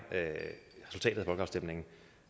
resultatet af folkeafstemningen